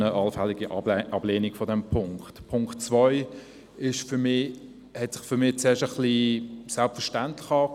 Der Punkt 2 hat sich zuerst als selbstverständlich angehört.